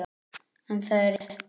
En það er rétt.